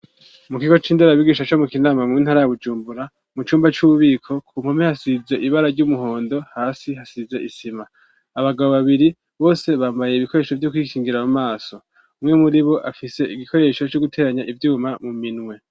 Mu kigo c'indorabigisha cyo mu kinama mu intara ya gujumbura mu cumba cy'ububiko ku mpome hasize ibara ry'umuhondo hasi hasize isima abagabo babiri bose bambaye ibikoresho byo kwikingira mu maso umwe muri bo afise igikoresho cy'o guteranya ibyuma mu minwe.